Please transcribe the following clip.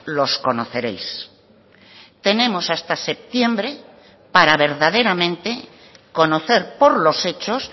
los conoceréis tenemos hasta septiembre para verdaderamente conocer por los hechos